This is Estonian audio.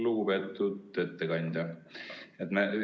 Lugupeetud ettekandja!